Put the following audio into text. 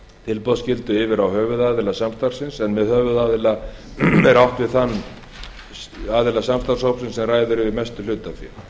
tilboðsskyldu yfir á höfuðaðila samstarfsins en með höfuðaðila er átt við þann aðila samstarfshópsins sem ræður yfir mestu hlutafé